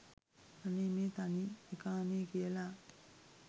අනේ මේ තනි එකානේ කියලා